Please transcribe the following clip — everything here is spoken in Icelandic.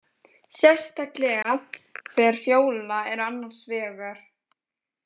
Sérstaklega þegar Fjóla er annars vegar.